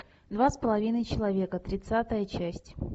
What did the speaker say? два с половиной человека тридцатая часть